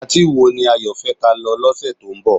Patí wo ni Ayo fẹ́ ka lọ lọ́sẹ̀ tó ń bọ̀?